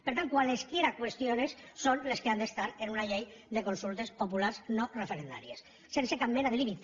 per tant cualesquiera cuestiones són les que han d’estar en una llei de consultes populars no referendàries sense cap mena de límit